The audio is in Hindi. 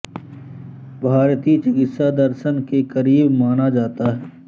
भारतीय चिकित्सा दर्शन के करीब माना जाता है